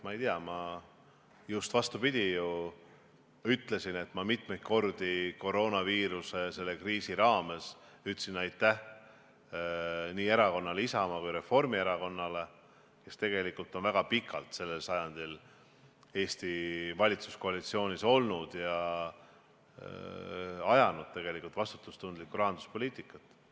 Ma ei tea, ma just vastupidi ju ütlesin, et ma mitmeid kordi koroonaviiruse kriisi raames ütlesin aitäh nii erakonnale Isamaa kui ka Reformierakonnale, kes tegelikult on väga pikalt sellel sajandil Eestis valitsuskoalitsioonis olnud ja ajanud vastutustundlikku rahanduspoliitikat.